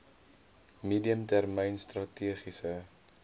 medium termyn strategiese